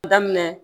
Daminɛ